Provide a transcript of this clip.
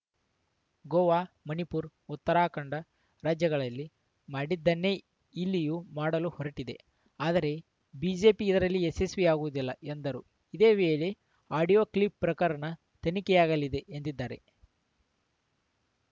ಗೋವಾ ಮಣಿಪುರ್ ಉತ್ತರಾಖಂಡ ರಾಜ್ಯಗಳಲ್ಲಿ ಮಾಡಿದ್ದನ್ನೇ ಇಲ್ಲಿಯೂ ಮಾಡಲು ಹೊರಟಿದೆ ಆದರೆ ಬಿಜೆಪಿ ಇದರಲ್ಲಿ ಯಶಸ್ವಿಯಾಗುವುದಿಲ್ಲ ಎಂದರು ಇದೇ ವೇಳೆ ಆಡಿಯೋ ಕ್ಲಿಪ್‌ ಪ್ರಕರಣ ತನಿಖೆಯಾಗಲಿದೆ ಎಂದಿದ್ದಾರೆ